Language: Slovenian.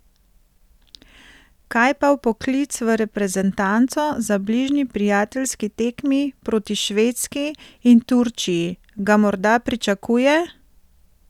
Kaj pa vpoklic v reprezentanco za bližnji prijateljski tekmi proti Švedski in Turčiji, ga morda pričakuje?